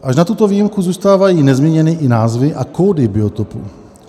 Až na tuto výjimku zůstávají nezměněny i názvy a kódy biotopů.